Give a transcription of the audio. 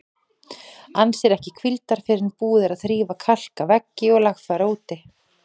Ann sér ekki hvíldar fyrr en búið er að þrífa, kalka veggi og lagfæra úti.